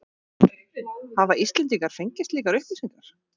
Hafa Íslendingar fengið slíkar upplýsingar?